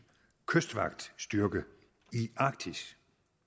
kystvagtstyrke i arktis